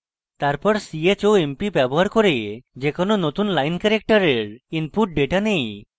তারপর chomp ব্যবহার করে যেকোনো নতুন line ক্যারেক্টারের input ডেটা নেই